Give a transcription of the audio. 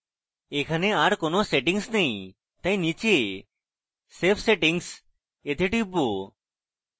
এখানে are কোনো settings নেই তাই নীচে save settings we টিপব